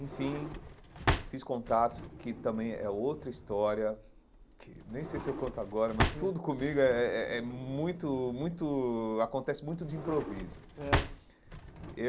Enfim, fiz contatos, que também é outra história, que nem sei se eu conto agora, mas tudo comigo é é é é muito muito... Acontece muito de improviso ãh eu.